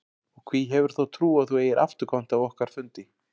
Og hví hefurðu þá trú að þú eigir afturkvæmt af okkar fundi?